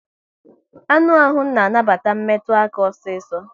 Anụ ahụ na anabata metụ aka osiso